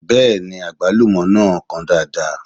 Bẹ́ẹ̀ni, àgbálúmọ náà kan dáadáa